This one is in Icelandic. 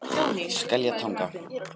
Skeljatanga